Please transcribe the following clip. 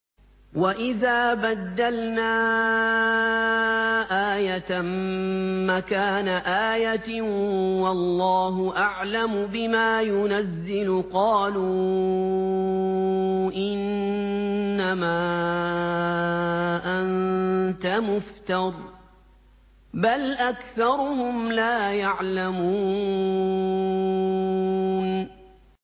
وَإِذَا بَدَّلْنَا آيَةً مَّكَانَ آيَةٍ ۙ وَاللَّهُ أَعْلَمُ بِمَا يُنَزِّلُ قَالُوا إِنَّمَا أَنتَ مُفْتَرٍ ۚ بَلْ أَكْثَرُهُمْ لَا يَعْلَمُونَ